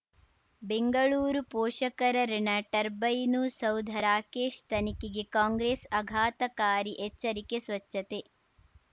ಬೆಂಗಳೂರು ಪೋಷಕರಋಣ ಟರ್ಬೈನು ಸೌಧ ರಾಕೇಶ್ ತನಿಖೆಗೆ ಕಾಂಗ್ರೆಸ್ ಆಘಾತಕಾರಿ ಎಚ್ಚರಿಕೆ ಸ್ವಚ್ಛತೆ